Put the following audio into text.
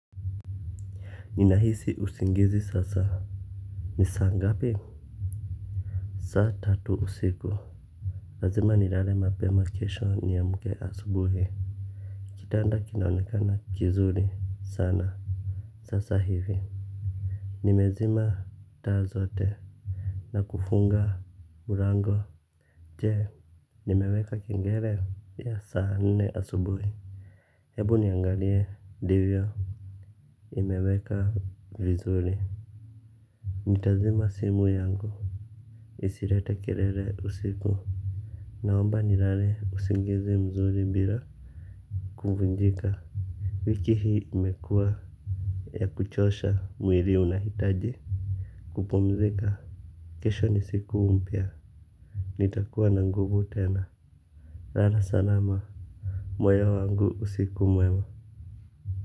Ninahisi usingizi sasa. Ni saa ngapi. Saa tatu usiku. Lazima nilale mapema kesho niamke asubuhi. Kitanda kinaonekana kizuri sana. Sasa hivi nimezima taa zote na kufunga mlango. Je nimeweka kengele ya saa nne asubuhi. Hebu niangalie ndivyo nimeweka vizuri. Nitazima simu yangu. Isilete kelele usiku. Naomba nilale usingizi mzuri bila kuvunjika wiki hii imekua ya kuchosha mwili unahitaji Kupumzika. Kesho ni siku mpya. Nitakuwa na nguvu tena. Lala salama. Moyo wangu usiku mwema.